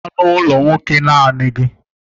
Agala n'ụlọ nwoke naanị gị!